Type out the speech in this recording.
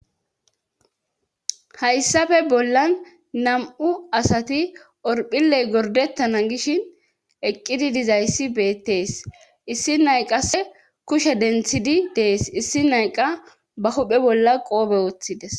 Hayssafe bollan nam7u asati orphilley gordettana gishin eqqidi dizayssi beettees issi nayqase kushe denthidi dees issi nayqa ba huphe bolla qoobe wooththides.